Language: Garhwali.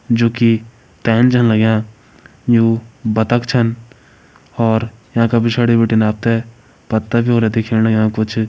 जोकि छन लग्यां यु बतक छन और येका पिछाड़ी बिटिन आप त पत्ता भी होला दिखेण लग्यां कुछ।